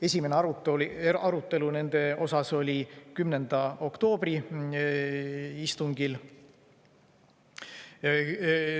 Esimene arutelu nende üle oli 10. oktoobri istungil.